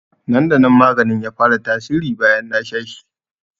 Nan da nan maganin ya fara tasiri bayan na sha shi